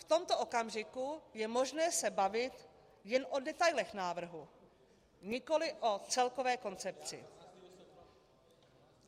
V tomto okamžiku je možné se bavit jen o detailech návrhu, nikoliv o celkové koncepci.